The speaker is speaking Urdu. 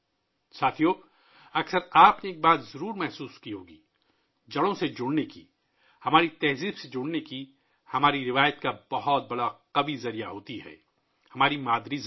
ساتھیو ، آپ نے اکثر ایک چیز کا تجربہ کیا ہوگا، جڑوں سے جڑنے کے لیے، اپنی ثقافت، ہماری روایت سے جڑنے کے لیے، ایک بہت ہی طاقتور ذریعہ ہے ہماری مادری زبان